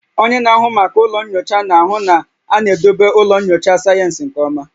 Onye na-ahụ maka ụlọ nyocha na-ahụ na a na-edobe ụlọ nyocha sayensị nke ọma